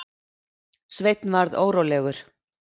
Sveinn varð órólegur.